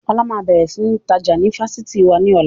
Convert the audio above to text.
Ọlá máa bẹ̀rẹ̀ sini tajà ni Fásitì wá ní ọ̀la